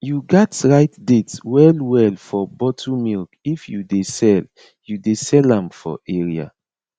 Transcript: you gats write date well well for bottle milk if you dey sell you dey sell am for area